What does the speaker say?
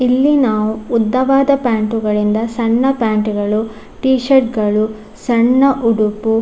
ಇಲ್ಲಿ ನಾವು ಉದ್ದವಾದ ಪ್ಯಾಂಟು ಗಳಿಂದ ಸಣ್ಣ ಪ್ಯಾಂಟು ಗಳು ಟಿಷರ್ಟ್‌ ಗಳು ಸಣ್ಣ ಉಡುಪು --